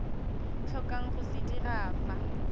tlhokang go se dira fa